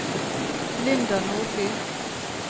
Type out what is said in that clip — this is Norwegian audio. Linda Nordby